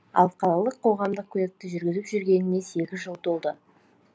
ал қалалық қоғамдық көлікті жүргізіп жүргеніне сегіз жыл толды